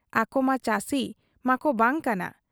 ᱟᱠᱚᱢᱟ ᱪᱟᱹᱥᱤ ᱢᱟᱠᱚ ᱵᱟᱝ ᱠᱟᱱᱟ ᱾